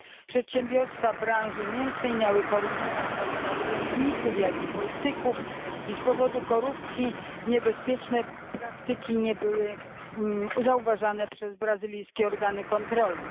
Przedsiębiorstwa branży mięsnej miały korumpować zarówno urzędników, jak i polityków, i z powodu korupcji niebezpieczne praktyki nie były zauważane przez brazylijskie organy kontrolne.